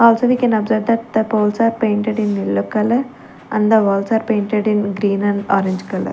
Also we can observe that the poles are painted in yellow colour and the walls are painted in green and orange colour.